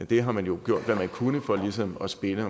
det har man jo gjort hvad man kunne for ligesom at spinne